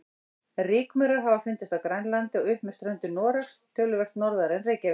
Rykmaurar hafa fundist á Grænlandi og upp með ströndum Noregs, töluvert norðar en Reykjavík.